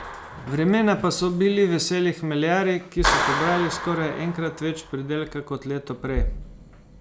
Vremena pa so bili veseli hmeljarji, ki so pobrali skoraj enkrat več pridelka kot leto prej.